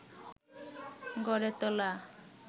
গড়ে তোলা